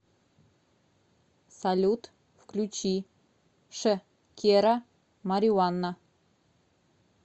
салют включи ш кера мариуанна